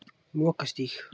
Lokastíg